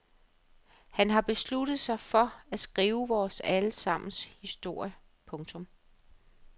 Han har besluttet sig for at skrive vores alle sammens historie. punktum